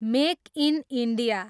make in India